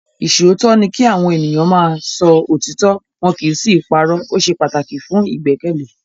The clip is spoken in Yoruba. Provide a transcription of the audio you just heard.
Ìṣòótọ́ ni kí Àwọn ènìyàn máa ń sọ òtítọ́ wọn kì í sì í parọ́. O ṣe pataki fun igbẹkẹle.